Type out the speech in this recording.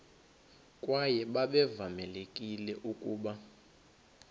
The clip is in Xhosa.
kwaye babevamelekile ukuba